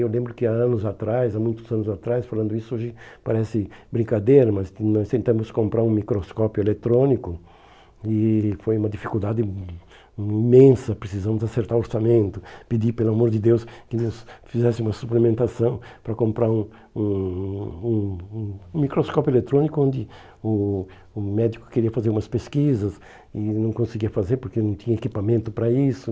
Eu lembro que há anos atrás, há muitos anos atrás, falando isso hoje parece brincadeira, mas nós tentamos comprar um microscópio eletrônico e foi uma dificuldade ih imensa, precisamos acertar o orçamento, pedir, pelo amor de Deus, que eles fizessem uma suplementação para comprar um um um um microscópio eletrônico onde o o médico queria fazer umas pesquisas e não conseguia fazer porque não tinha equipamento para isso.